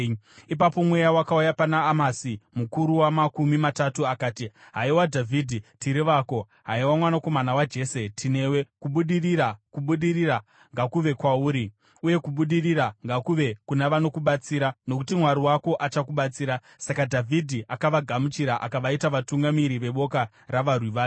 Ipapo Mweya wakauya pana Amasi mukuru waMakumi Matatu akati, “Haiwa Dhavhidhi, tiri vako! Haiwa mwanakomana waJese, tinewe! Kubudirira, kubudirira ngakuve kwauri, uye kubudirira ngakuve kuna vanokubatsira nokuti Mwari wako achakubatsira.” Saka Dhavhidhi akavagamuchira akavaita vatungamiri veboka ravarwi vake.